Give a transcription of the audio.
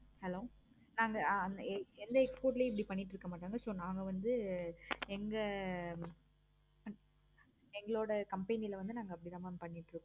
hello ஆஹ் அந்த எந்த export ளையும் இப்படி பண்ணிட்டு இருக்கமாட்டாங்க. so நாங்க வந்து எங்க எங்களோட company ல வந்து நாங்க அப்படி தான் mam பண்ணிட்டு இருக்கோ mam